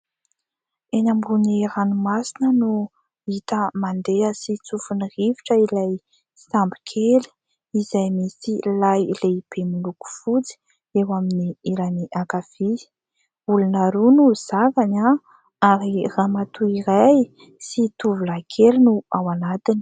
Eny ambonin'ny ranomasina no hita mandeha sy tsofin'ny rivotra ilay sambo kely, izay misy lay lehibe miloko fotsy eo amin'ny ilany ankavia. Olona roa no zakany, ary ramatoa iray sy tovolahy kely no ao anatiny.